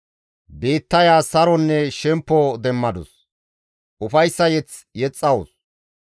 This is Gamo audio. Biittaya saronne shempo demmadus; ufayssa mazamure yexxawus.